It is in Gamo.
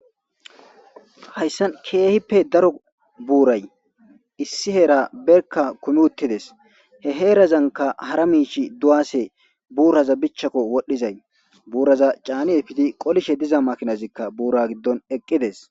hayssan keehippe daro buuray issi heera berka kumi uttides, he heerazanka hara miish duwase, buuraza bichchakko wodhdhizay, buuraza caani epidi qolishe diza makinazikka buura giddon eqqides.